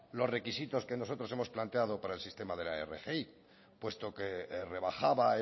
los requisitos que nosotros hemos planteado para el sistema de la rgi puesto que rebajaba